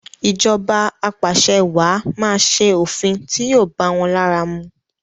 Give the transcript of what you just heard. Ìjọba apàṣẹwàá máa ṣe òfin ti yóò báwọn lára mu.